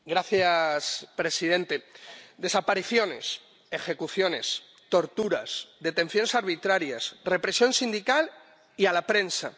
Señor presidente, desapariciones, ejecuciones, torturas, detenciones arbitrarias, represión sindical y de prensa.